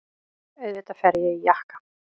Auðvitað fer ég í jakka.